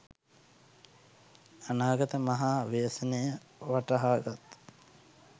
අනාගත මහා ව්‍යසනය වටහාගත්